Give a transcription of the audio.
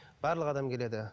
барлық адам келеді